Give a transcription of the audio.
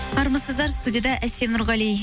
армысыздар студияда әсем нұрғали